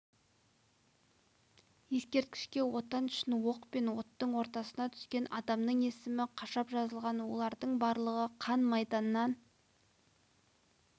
ескерткішке отан үшін оқ пен оттың ортасына түскен адамның есімі қашап жазылған олардың барлығы қан майданнан